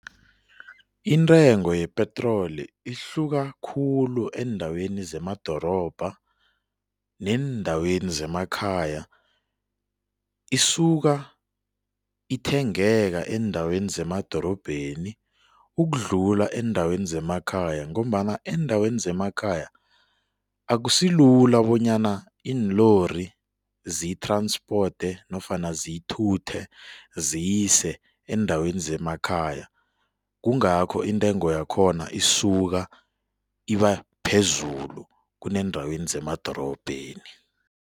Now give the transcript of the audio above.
Intengo yepetroli ihluka khulu eendaweni zemadorobha neendaweni zemakhaya. Isuka ithengeka eendaweni zemadorobheni ukudlula eendaweni zemakhaya ngombana eendaweni zemakhaya, akusilula bonyana iinlori ziyi-transport nofana ziyithuthe ziyise eendaweni zemakhaya, kungakho intengo yakhona isuka iba phezulu kuneendaweni zemadorobheni.